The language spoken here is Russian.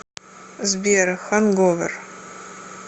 сбер ханговер